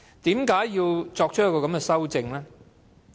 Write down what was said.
為何要作出這項修訂？